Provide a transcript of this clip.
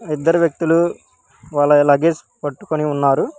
ఆ ఇద్దరు వ్యక్తులు వాళ్ళవి లగేజ్ పట్టుకొని ఉన్నారు.